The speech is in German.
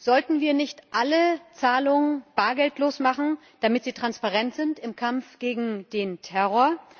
Sollten wir nicht alle Zahlungen bargeldlos machen, damit sie transparent sind im Kampf gegen den Terror?